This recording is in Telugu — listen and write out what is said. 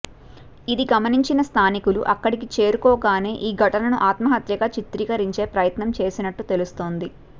ఇది గమనించిన స్ధానికులు అక్కడికి చేరుకోగానే ఈ ఘటనను ఆత్మహత్యగా చిత్రీకరించే ప్రయత్నం చేసినట్టు తెలుస్తోంది